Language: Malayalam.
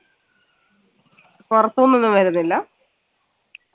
പുറത്തുനിന്നൊന്നും വരുന്നില്ല